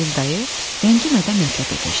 Xəlil dayı ləngimədən mətləbə keçdi.